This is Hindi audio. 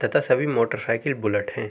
तथा सभी मोटरसाइकिल बुलेट हैं।